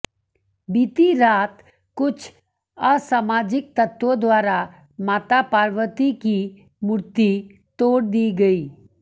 बीती रात कुछ असामाजिक तत्वों द्वारा माता पार्वती की मूर्ति तोड़ दी गयी